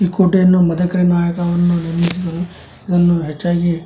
ಈ ಕೋಟೆಯನ್ನು ಮದಕರಿ ನಾಯಕ ನಿರ್ಮಿಸಿದರು ಇದನ್ನು ಹೆಚ್ಚಾಗಿ --